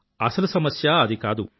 అసలు సమస్య అది కాదు